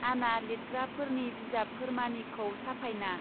आना लितग्राफोरनि बिजाबफोरमानिखौ साफायना.